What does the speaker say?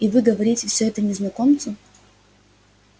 и вы говорите все это незнакомцу